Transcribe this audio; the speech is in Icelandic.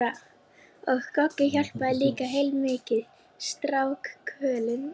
Og Goggi hjálpaði líka heilmikið, strákkvölin.